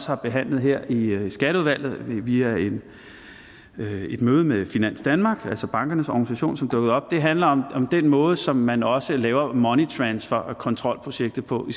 har behandlet her i skatteudvalget via et et møde med finans danmark altså bankernes organisation som dukkede op handler om den måde som man også laver moneytransfer og kontrolprojektet på i